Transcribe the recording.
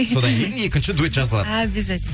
содан кейін екінші дуэт жазылады объязательно